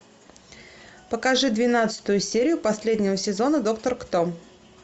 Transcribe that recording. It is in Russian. покажи двенадцатую серию последнего сезона доктор кто